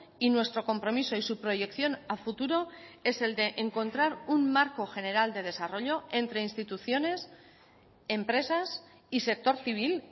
y nuestro compromiso y su proyección a futuro es el de encontrar un marco general de desarrollo entre instituciones empresas y sector civil